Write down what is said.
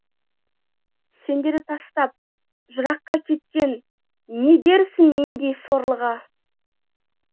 сендерді тастап жыраққа кеткен не дерсің мендей сорлыға